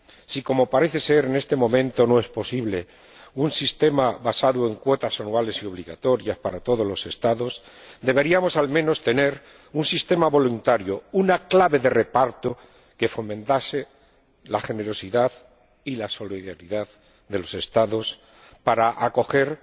Si, como parece ser, en este momento no es posible un sistema basado en cuotas anuales y obligatorias para todos los Estados, deberíamos, al menos, tener un sistema voluntario, una clave de reparto que fomente la generosidad y la solidaridad de los Estados para acoger